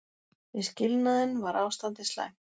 Við skilnaðinn var ástandið slæmt.